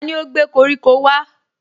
Tani ó gbé koríko wá?